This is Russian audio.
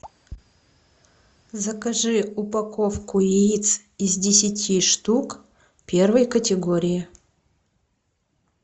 закажи упаковку яиц из десяти штук первой категории